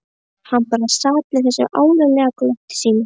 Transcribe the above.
Hann bara sat með þessu ánalega glotti sínu.